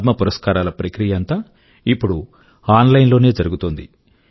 పద్మ పురస్కారాల ప్రక్రియ అంతా ఇప్పుడు ఆన్ లైన్ లోనే జరుగుతోంది